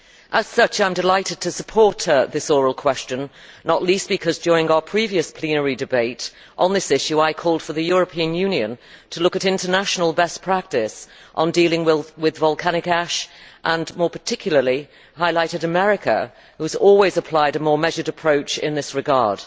As such, I am delighted to support this oral question, not least because during our previous plenary debate on this issue, I called for the European Union to look at international best practice on dealing with volcanic ash and, more particularly, highlighted America, which has always applied a more measured approach in this regard.